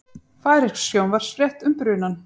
Færeysk sjónvarpsfrétt um brunann